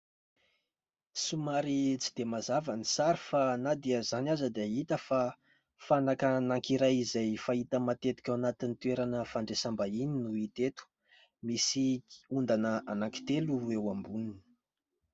somary tsy dia mazava ny sary fa na dia izany aza dia hita fa fanaka anankiray izay fahita matetika ao anatin'ny toerana fandraisam-bahiny no hita eto, misy ondana anankitelo eo amboniny